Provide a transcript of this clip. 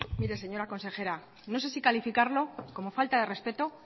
mire señora consejera no sé si calificarlo como falta de respeto